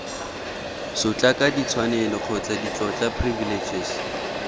sotlaka ditshwanelo kgotsa ditlotla privileges